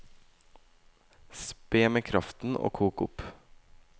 Spe med kraften og kok opp.